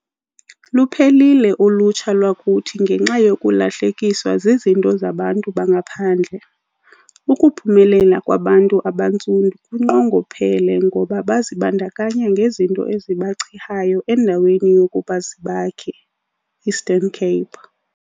Luphelile ulutsha lwakuthi ngenxa yokulahlekiswa zizinto zabantu bangaphandle. Ukuphumelela kwabantu abantsundu kunqongophele ngoba bazibandakanya ngezinto ezibachihayo endaweni yokuba zibakhe. Eastern_Cape